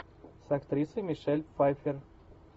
с актрисой мишель пфайффер